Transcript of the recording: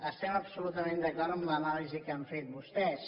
estem absolutament d’acord amb l’anàlisi que han fet vostès